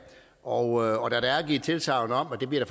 og der er givet tilsagn om at der bliver